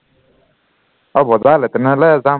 অ বজাৰলে তেনেহলে যাম